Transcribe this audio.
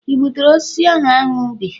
i gbuturu osisi ahụ anu bi?